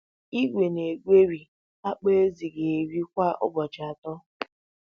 Igwe na-egweri akpụ ezì ga-eri kwa ụbọchị atọ.